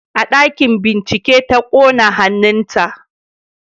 A ɗakin bincike ta kona hannunta